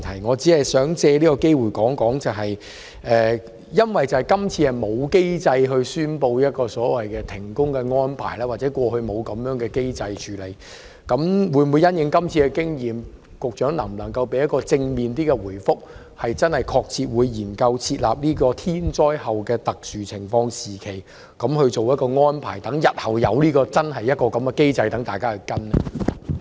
我只是想藉此機會說一說，今次沒有機制宣布所謂的停工安排，或過去沒有這樣的處理機制，但因應今次經驗，當局會否——不知局長能否提供一個比較正面的答覆——真正確切研究設立"天災後的特殊情況時期"這安排，讓日後真正設有這樣的機制，讓大家跟隨？